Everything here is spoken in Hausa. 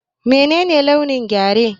Menene launin Gyare?